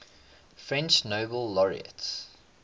french nobel laureates